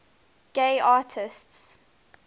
gay artists